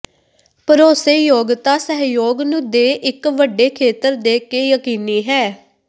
ਭਰੋਸੇਯੋਗਤਾ ਸਹਿਯੋਗ ਨੂੰ ਦੇ ਇੱਕ ਵੱਡੇ ਖੇਤਰ ਦੇ ਕੇ ਯਕੀਨੀ ਹੈ